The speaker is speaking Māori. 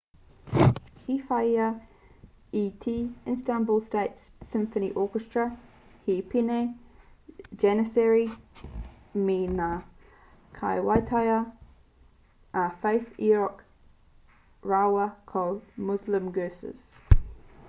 i whāia e te istanbul state symphony orchestra he pēne janissary me ngā kaiwaiata a fatih erkoc rāua ko muslum gurses